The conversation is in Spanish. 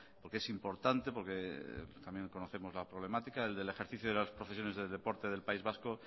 porque es importante porque también conocemos la problemática el del ejercicio de las profesiones de deporte del país vasco